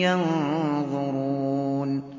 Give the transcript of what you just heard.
يَنظُرُونَ